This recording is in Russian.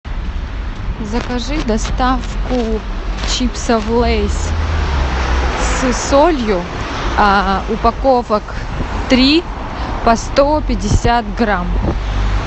закажи доставку чипсов лейс с солью упаковок три по сто пятьдесят грамм